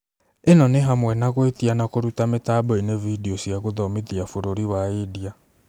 Ĩno nĩ hamwe na gũĩtia na kũruta mĩtamboĩnĩ vidio cĩa gũthomithia. Bũrũri wa India